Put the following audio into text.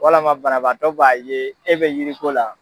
Walama banabaatɔ b'a ye e bɛ yiriko la.